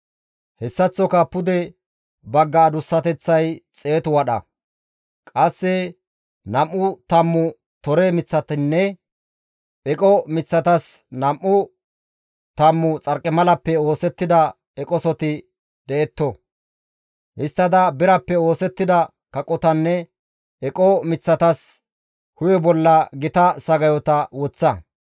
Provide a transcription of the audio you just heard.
Hessaththoka pude bagga adussateththay xeetu wadha; qasse nam7u tammu tore miththatinne eqo miththatas nam7u tammu xarqimalappe oosettida eqosoti detto. Histtada birappe oosettida kaqotanne eqo miththatas hu7e bolla gita sagayota woththa.